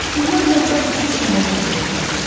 Bunlar da hər üçü şəhərdə doğulmuşdu.